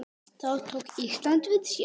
Þá tók Ísland við sér.